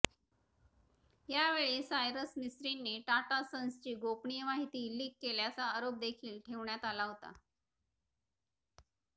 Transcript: यावेळी सायरस मिस्त्रींनी टाटा सन्सची गोपनीय माहिती लीक केल्याचा आरोप देखील ठेवण्यात आला होता